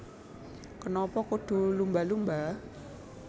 Kenapa Kudu Lumba Lumba